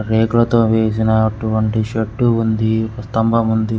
రేకులతో వేసిన అటువంటి షెడ్డు ఉంది స్తంభం ఉంది.